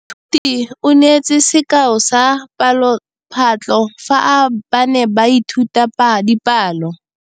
Moithuti o neetse sekaô sa palophatlo fa ba ne ba ithuta dipalo.